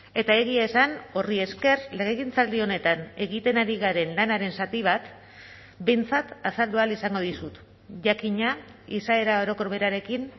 eta egia esan horri esker legegintzaldi honetan egiten ari garen lanaren zati bat behintzat azaldu ahal izango dizut jakina izaera orokor berarekin